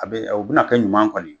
A bɛ u bɛna kɛ ɲuman kɔni ye.